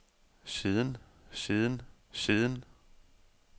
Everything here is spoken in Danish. siden siden siden